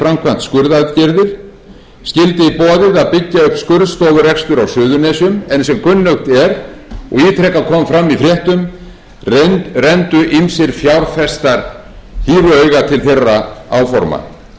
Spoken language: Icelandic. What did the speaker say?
að byggja upp skurðstofurekstur á suðurnesjum en sem kunnugt er og ítrekað kom fram í fréttum renndu ýmsir fjárfestar hýru auga til þeirra áforma síðan átti landspítalinn að